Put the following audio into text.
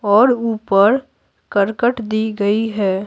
और ऊपर करकट दी गई है।